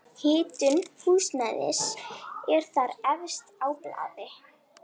Hitun húsnæðis er þar efst á blaði.